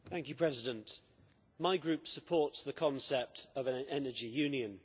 Mr President, my Group supports the concept of an energy union.